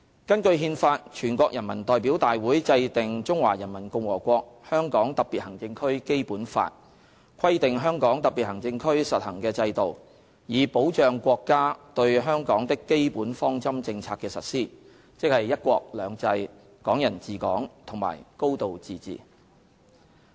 根據《憲法》，全國人民代表大會制定《中華人民共和國香港特別行政區基本法》，規定香港特別行政區實行的制度，以保障國家對香港的基本方針政策的實施，即"一國兩制"、"港人治港"和"高度自治"。